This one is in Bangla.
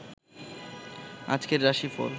আজকের রাশিফল